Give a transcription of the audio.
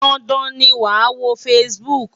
Dandan ni wàá wo Facebook!